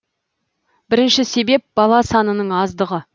бірінші себеп бала санының аздығы